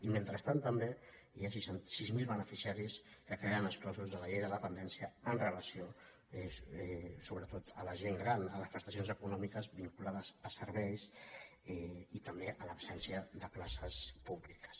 i mentrestant també hi ha sis mil beneficiaris que que·den exclosos de la llei de dependència amb relació so·bretot a la gent gran a les prestacions econòmiques vinculades a serveis i també a l’absència de places pú·bliques